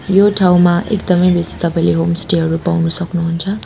यो ठाउँमा एकदमै बेसी तपाईँले होमस्टे हरु पाउनु सक्नुहुन्छ।